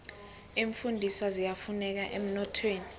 iimfundiswa ziyafuneka emnothweni